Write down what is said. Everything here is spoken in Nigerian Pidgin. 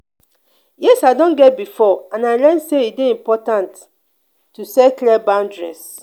yes i don get beforeand i learn say e dey important to set clear boundaries.